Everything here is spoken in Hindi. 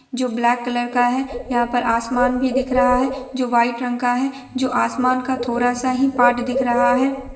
जो ब्लैक कलर का है| यहाँ पर आसमान भी दिख रहा है जो वाईट रंग का है जो आसमान का थोड़ा-सा ही पार्ट दिख रहा है।